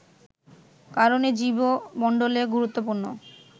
কারণে জীব মন্ডলে গুরুত্বপূর্ণ